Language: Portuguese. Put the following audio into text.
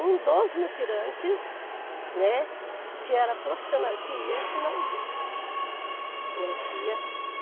um dos mutirantes, né, que era profissional, que ia ensinar os outros.